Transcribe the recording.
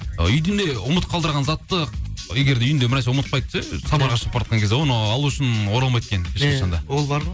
ы үйдін де ұмыт қалдырған затты егер де үйінде бір нәрсе сапарға шығып бара жатқан кезде оны алу үшін оралмайды екен ешқашан да иә ол бар ғой